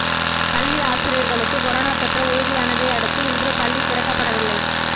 பள்ளி ஆசிரியர்களுக்கு கொரோனா தொற்று உறுதியானதை அடுத்து இன்று பள்ளி திறக்கப்படவில்லை